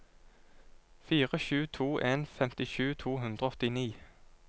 fire sju to en femtisju to hundre og åttini